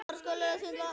Huggast þú sem grætur.